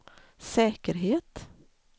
säkerhet